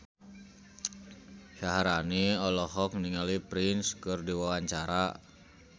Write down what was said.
Syaharani olohok ningali Prince keur diwawancara